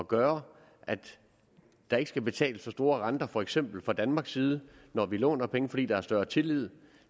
gøre at der ikke skal betales så store renter for eksempel fra danmarks side når vi låner penge fordi der er større tillid